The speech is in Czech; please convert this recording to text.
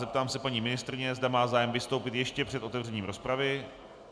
Zeptám se paní ministryně, zda má zájem vystoupit ještě před otevřením rozpravy.